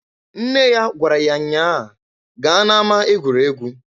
Nne ya gwara ya nnya a, "Gaa na-ama egwuregwu!"